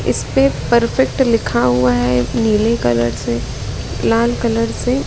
इसपे परफेक्ट लिखा हुआ है नीले कलर से लाल कलर से।